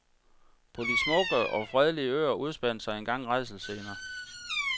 På de smukke og fredelige øer udspandt sig engang rædselsscener.